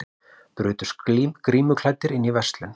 Brutust grímuklæddir inn í verslun